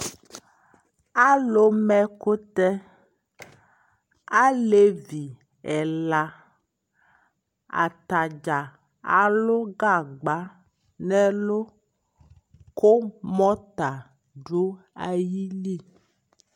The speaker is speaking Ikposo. Alu ma ɛkutɛ Alɛvi ɛla ata dza alu gagba nɛ lu ku mɔta du ayi li